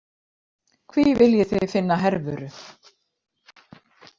Hví viljið þið finna Hervöru?